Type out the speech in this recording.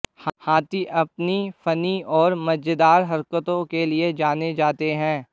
हाथी अपनी फनी और मजेदार हरकतों के लिए जाने जाते हैं